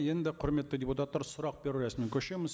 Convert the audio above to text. енді құрметті депутаттар сұрақ беру рәсіміне көшеміз